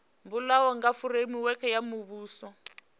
bulwaho kha fureimiweke ya muvhuso